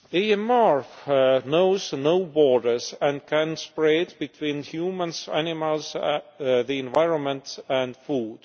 AMR knows no borders and can spread between humans, animals, the environment and food.